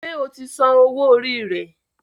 Ṣe o tí Sàn owo orí rẹ?